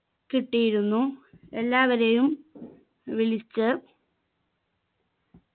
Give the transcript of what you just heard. കിട്ടിയിരുന്നു എല്ലാവരെയും വിളിച്ച്